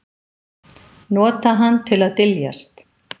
Nota hann til að dyljast.